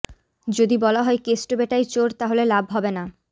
যদি বলা হয় কেষ্ট বেটাই চোর তাহলে লাভ হবে না